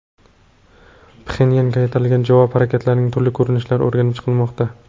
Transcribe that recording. Pxenyanga qaytariladigan javob harakatlarining turli ko‘rinishlari o‘rganib chiqilmoqda.